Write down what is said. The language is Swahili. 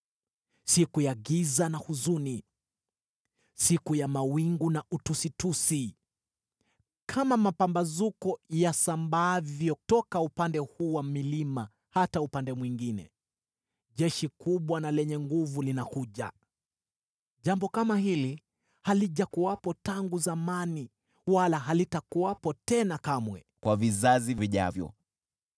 siku ya giza na huzuni, siku ya mawingu na utusitusi. Kama mapambazuko yasambaavyo toka upande huu wa milima hata upande mwingine jeshi kubwa na lenye nguvu linakuja. Jambo kama hili halijakuwepo tangu zamani wala halitakuwepo tena kamwe kwa vizazi vijavyo.